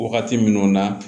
Wagati minnu na